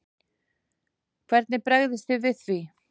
Hvernig bregðist þið við því?